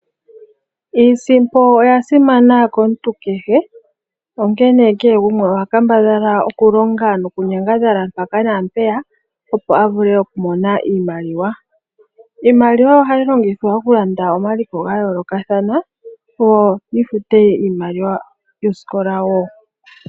Iisimpo oya simana komuntu kehe onkene kehe gumwe oha kambadhala nokunyangadhala mpaka na mpeya, opo a vule okumona iimaliwa. Iimaliwa ohayi longithwa okulanda omaliko ga yoolokathana yo yi fute iimaliwa yosikola wo.